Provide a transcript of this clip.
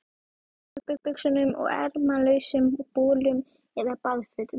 Í stuttbuxum og ermalausum bolum eða baðfötum.